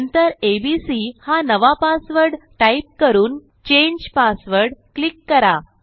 नंतर एबीसी हा नवा पासवर्ड टाईप करून चांगे पासवर्ड क्लिक करा